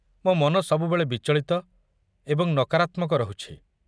ମୋ ମନ ସବୁବେଳେ ବିଚଳିତ ଏବଂ ନକାରାତ୍ମକ ରହୁଛି।